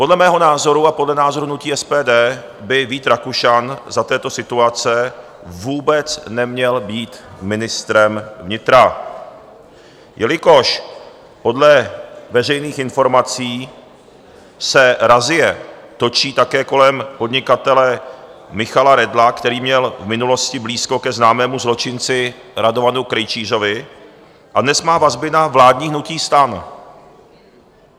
Podle mého názoru a podle názoru hnutí SPD by Vít Rakušan za této situace vůbec neměl být ministrem vnitra, jelikož podle veřejných informací se razie točí také kolem podnikatele Michala Redla, který měl v minulosti blízko ke známému zločinci Radovanu Krejčířovi a dnes má vazby na vládní hnutí STAN.